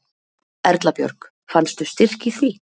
Erla Björg: Fannstu styrk í því?